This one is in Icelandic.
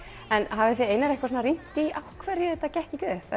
hafið þið Einar eitthvað rýnt í af hverju þetta gekk ekki upp